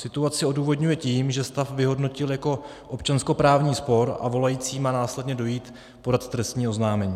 Situaci odůvodňuje tím, že stav vyhodnotil jako občanskoprávní spor, a volající má následně dojít podat trestní oznámení.